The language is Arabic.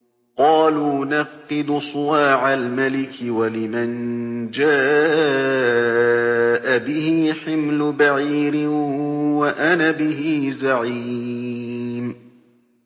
قَالُوا نَفْقِدُ صُوَاعَ الْمَلِكِ وَلِمَن جَاءَ بِهِ حِمْلُ بَعِيرٍ وَأَنَا بِهِ زَعِيمٌ